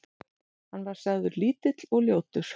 Hann var sagður lítill og ljótur.